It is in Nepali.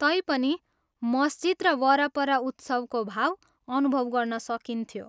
तैपनि मस्जिद र वरपर उत्सवको भाव अनुभव गर्न सकिन्थ्यो।